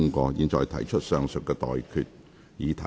我現在向各位提出上述待決議題。